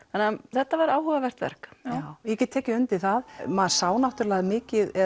þetta var áhugavert verk ég get tekið undir það maður sá mikið eða